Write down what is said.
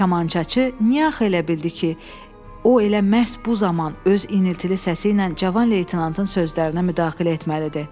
Kamançaçı niyə axı elə bildi ki, o elə məhz bu zaman öz iniltili səsi ilə cavan leytenantın sözlərinə müdaxilə etməlidir?